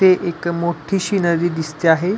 ते एक मोठी सिनरी दिसते आहे.